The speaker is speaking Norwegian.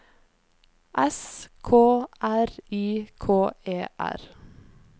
S K R I K E R